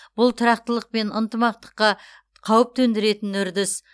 бұл тұрақтылық пен ынтымаққа қауіп төндіретін үрдіс